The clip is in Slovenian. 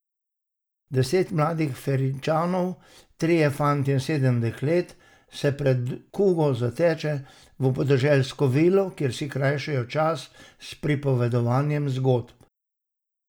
Deset mladih Firenčanov, trije fantje in sedem deklet, se pred kugo zateče v podeželsko vilo, kjer si krajšajo čas s pripovedovanjem zgodb.